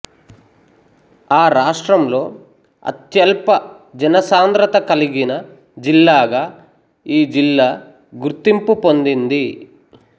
ఆ రాష్ట్రంలో అత్యల్ప జనసాంధ్రత కలిగిన జిల్లాగా ఈ జిల్లా గుర్తింపు పొందింది